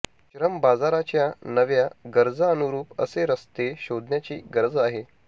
श्रम बाजाराच्या नव्या गरजांनुरूप असे रस्ते शोधण्याची गरज आहे